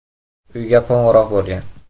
Uyga qo‘ng‘iroq bo‘lgan.